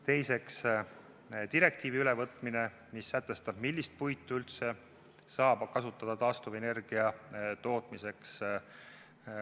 Teiseks, direktiivi ülevõtmine, mis sätestab, millist puitu üldse saab kasutada taastuvenergia tootmiseks.